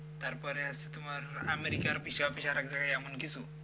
তারপরে আছে তোমার আমেরিকার office office আরেক জায়গায় এমন আছে কিছু